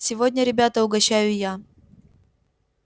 сегодня ребята угощаю я